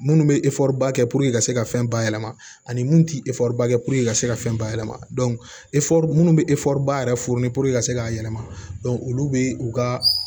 Minnu bɛ ba kɛ ka se ka fɛn bayɛlɛma ani munnu tɛ ba kɛ ka se ka fɛn bayɛlɛma minnu bɛ ba yɛrɛ ka se k'a yɛlɛma olu bɛ u ka